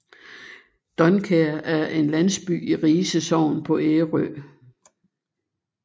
Dunkær er en landsby i Rise Sogn på Ærø